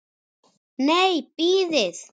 Nei, bíðið.